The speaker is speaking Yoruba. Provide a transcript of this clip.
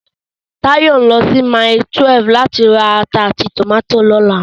Táyọ̀ ń lọ sí Mile 12 láti ra ata àti tòmátì lọ́la